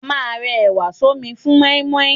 A máà ń rẹ ẹ̀wà sọ́mi fún mọ́ímọ́í.